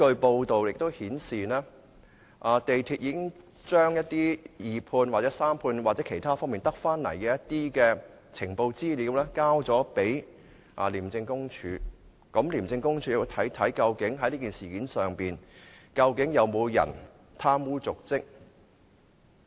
報道亦顯示，港鐵公司已經把一些從二判、三判或其他方面得到的資料交給廉政公署，廉署會研究在這事件中究竟有沒有人貪污瀆職。